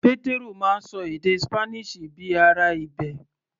Pétérù máa ń ṣọ èdè Spanish bíi ará ibẹ̀.